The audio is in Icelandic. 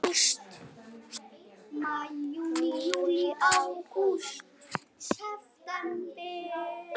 Maí Júní Júlí Ágúst